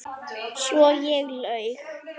Svo ég laug.